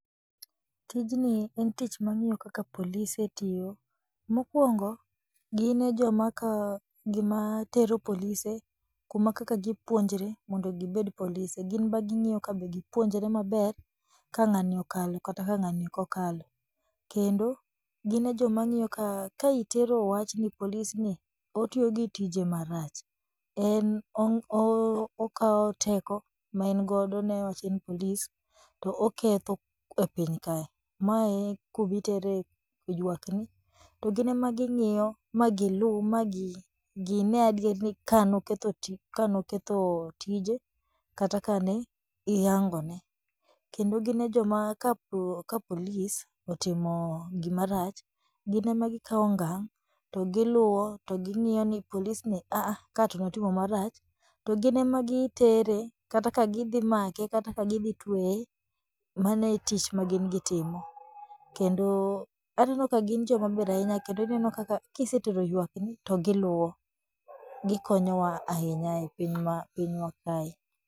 Tijni en tich mang'iyo kaka polise tiyo. Mokwongo, gine jomaka jomatero polise kuma kaka gipuonjre mondo gibed polise, gin maging'iyo ka be gipuonjre maber ka ng'ani okalo kata ka ng'ani okokalo, kendo gine jomang'iyo ka itero wach ni "Polis ni otiyo gi tije marach, en okawo teko maengodo newach en polis to oketho e piny kae". Me e kumitere ywakni to ginemaging'iyo ma giluu ma ginee adier ni kanokethi ti kanoketho tije kata kaneihangone kendo gine joma ka [c s]polis otimo gimarach ginemagikawo okang' to giluwo to ging'iyo ni polisni, "Aaah ka to natimo marach", to ginemagitere kata ka gidhimake kata ka gidhitweye, mano e tich ma gin gitimo kendo aneno ka gin jokma ber ahinya kendo ineno kaka kisetero ywakni to giluwo, gikonyowa ahinya e pinywa kae.